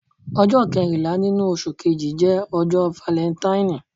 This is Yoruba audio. Ọjọ kẹrinla ninu oṣu Kẹji jẹ ọjọ Falentaini.